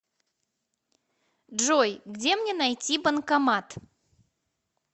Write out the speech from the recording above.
джой где мне найти банкомат